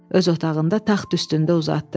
Öz otağında taxt üstündə uzatdı.